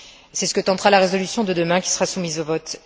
C'est ce que tentera la résolution de demain qui sera soumise au vote.